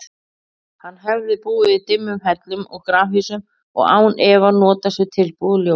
Hann hefði búið í dimmum hellum og grafhýsum og án efa notast við tilbúið ljós.